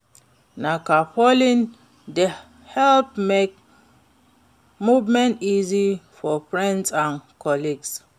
Na carpooling dey help make movement easy for friends and colleagues.